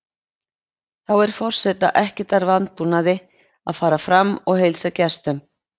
Þá er forseta ekkert að vanbúnaði að fara fram og heilsa gestum.